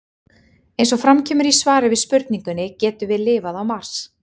Eins og fram kemur í svari við spurningunni Getum við lifað á Mars?